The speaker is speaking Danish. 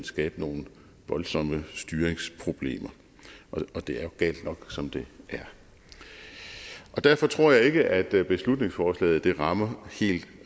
skabe nogle voldsomme styringsproblemer og det er jo galt nok som det er derfor tror jeg ikke at beslutningsforslaget rammer helt